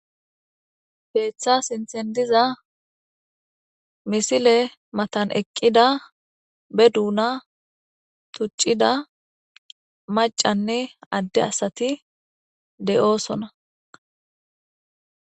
Keetha sinthen diza misile matan eqqida ba duuna maskera tuccida maccanne adde asati de'osona.